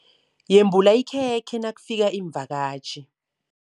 Yembula ikhekhe nakufika iimvakatjhi.